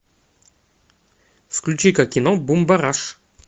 включи ка кино бумбараш